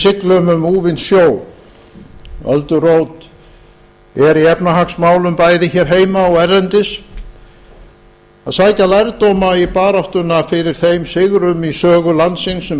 þegar við siglum um úfinn sjó öldurót er í efnahagsmálum bæði hér heima og erlendis að sækja lærdóma í baráttuna fyrir þeim sigrum í sögu landsins sem